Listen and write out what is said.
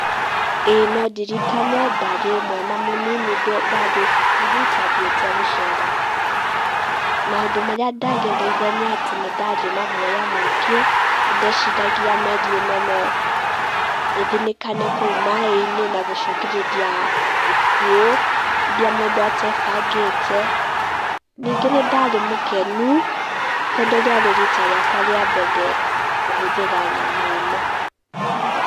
Ĩĩ no ndirikane ndarĩ mwana mũnini ndarĩ cukuru, twathiĩte gũcera. Maũndũ marĩa ndagereire nĩ atĩ nĩndarĩ na guaya mũingĩ, nĩ ndeciragia meri ĩno no ĩthinĩkane kũu maaĩ-inĩ na gũcũngĩrĩria ikuũ iria mũndũ atebangĩte. Ningĩ nĩ ndarĩ mũkenu tondũ rĩarĩ rita rĩakwa rĩa mbere kũhũthĩra nyamũ ĩno.